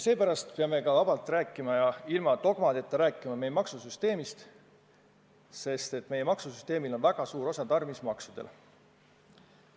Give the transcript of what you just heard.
Seepärast peame ka vabalt ja ilma dogmadeta rääkima meie maksusüsteemist – meie maksusüsteemis nimelt on väga suur osa tarbimismaksudel.